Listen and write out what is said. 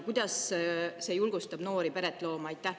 Kuidas see julgustab noori peret looma?